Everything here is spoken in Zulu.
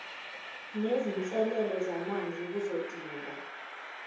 nezinselele zamanje kuzodinga